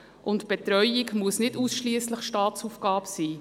Die Betreuung muss nicht ausschliesslich Staatsaufgabe sein.